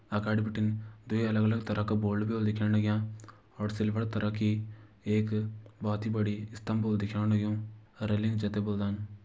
अगाड़ी बिटिन दुई अलग अलग तरह का बोर्ड भी होलु दिखेण लग्यां और सिल्वर तरह की एक बहोत ही बड़ी स्तम्भ भी दिखेण लग्युं रेलिंग जै त बोल्दन।